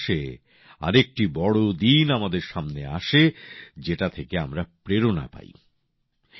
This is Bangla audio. ডিসেম্বর মাসে আরেকটি বড় দিন আমাদের সামনে আসে যেটা থেকে আমরা প্রেরণা পাই